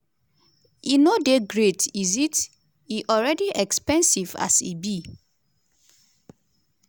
e no dey great is it e already expensive as e be."